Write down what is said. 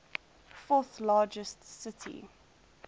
fourth largest city